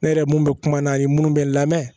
Ne yɛrɛ mun bɛ kuma n'a ye minnu bɛ lamɛn